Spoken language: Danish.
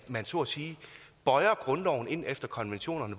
man så at sige bøjer grundloven ind efter konventionerne